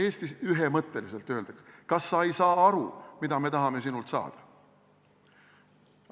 Täiesti ühemõtteliselt öeldakse: kas sa ei saa aru, mida me tahame sinult saada?